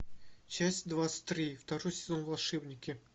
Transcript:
часть двадцать три второй сезон волшебники